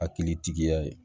Hakilitigi tigiya ye